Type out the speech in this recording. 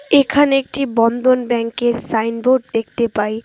এখানে একটি বন্ধন ব্যাংক -এর সাইনবোর্ড দেখতে পাই।